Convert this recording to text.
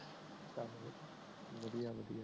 ਵਧਿਆ ਵਧਿਆ